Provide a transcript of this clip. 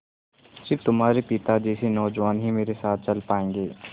स़िर्फ तुम्हारे पिता जैसे नौजवान ही मेरे साथ चल पायेंगे